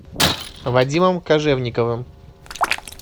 вадимом кожевниковым